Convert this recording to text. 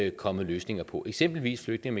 ikke kommet løsninger på eksempelvis flygtninge